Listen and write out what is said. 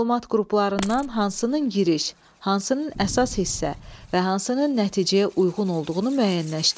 Məlumat qruplarından hansının giriş, hansının əsas hissə və hansının nəticəyə uyğun olduğunu müəyyənləşdir.